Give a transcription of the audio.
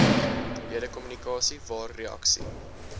ledekommunikasie waar reaksie